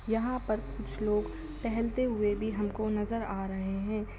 यहाँ पर कुछ लोग टहलते हुए भी हमको नजर आ रहे है।